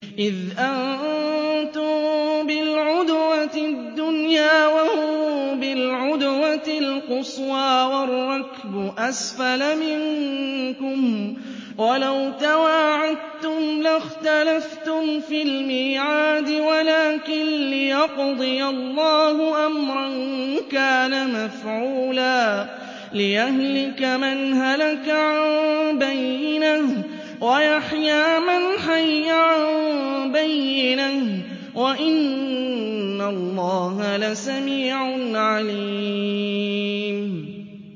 إِذْ أَنتُم بِالْعُدْوَةِ الدُّنْيَا وَهُم بِالْعُدْوَةِ الْقُصْوَىٰ وَالرَّكْبُ أَسْفَلَ مِنكُمْ ۚ وَلَوْ تَوَاعَدتُّمْ لَاخْتَلَفْتُمْ فِي الْمِيعَادِ ۙ وَلَٰكِن لِّيَقْضِيَ اللَّهُ أَمْرًا كَانَ مَفْعُولًا لِّيَهْلِكَ مَنْ هَلَكَ عَن بَيِّنَةٍ وَيَحْيَىٰ مَنْ حَيَّ عَن بَيِّنَةٍ ۗ وَإِنَّ اللَّهَ لَسَمِيعٌ عَلِيمٌ